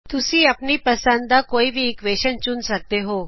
ਤੁਸੀਂ ਆਪਣੀ ਪੰਸਦ ਦਾ ਕੋਈ ਵੀ ਇਕਵੇਸ਼ਨ ਚੁਨ ਸਕਦੇ ਹੋ